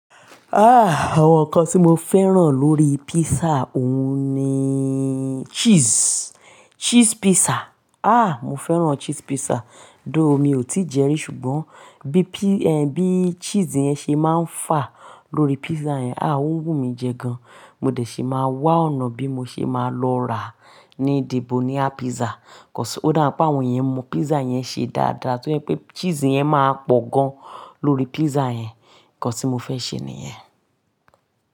Ah! Awọn nkán tí mo fẹ́ran lórí pizza, oun ni cheese, cheese pizza. Ah! Mo fẹ́ran cheese pizza, though, mi ò tí jẹ rí ṣùgbọ́n bí pi-- bí cheese yẹn ṣé máa n fà lórí pizza yẹn, ah o wù mí jẹ gan. Mo dẹ̀ ṣé máa wá ọ̀nà bí mo ṣé máa lọ rà ní Debonia Pizza. Cause, ó dábi pé àwọn yẹn mọ pizza yẹn ṣe dáadáa, tọ́ je pé cheese yẹn máa pọ̀o gan lórí pizza yẹn. Nkán tí mo fẹ́ ṣe ni yẹn.